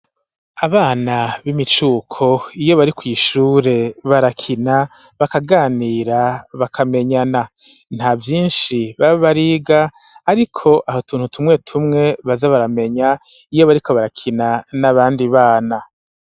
Abana b'imicuko iyo bari kw'ishure barakina bakaganira bakamenyana nta vyishi baba bariga ariko hari utuntu tumwe tumwe baza baramenya iyo bariko barakina n'abandi bana